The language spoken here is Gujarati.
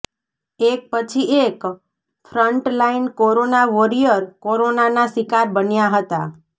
એક પછી એક ફ્રન્ટલાઇન કોરોના વોરિયર કોરોનાના શિકાર બન્યા હતા